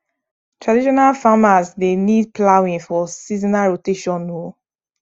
traditional farmers dey need ploughing for seasonal rotation um